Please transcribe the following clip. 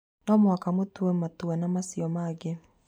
No mũhaka mũtue matua na macio mangĩ